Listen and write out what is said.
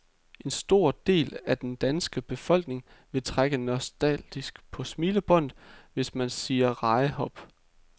En stor del af den danske befolkning vil trække nostalgisk på smilebåndet, hvis man siger rejehop.